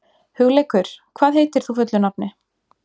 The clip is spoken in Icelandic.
Hugleikur, hvað heitir þú fullu nafni?